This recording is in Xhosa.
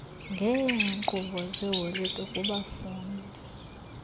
ngeenkqubo zeholide kubafundi